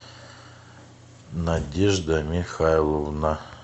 надежда михайловна